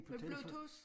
På Bluetooth